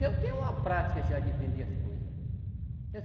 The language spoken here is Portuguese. Eu tenho uma prática já de vender as coisa.